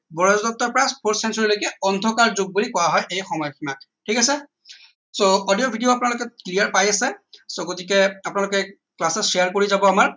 ব্ৰজদত্তৰ পৰা full century লৈকে অন্ধকাৰ যুগ বুলি কোৱা হয় এই সময় সিমাত ঠিক আছে so audio video আপোনালোকে clear পাই আছে so গতিকে আপোনালোকে class ত share কৰি যাব আমাক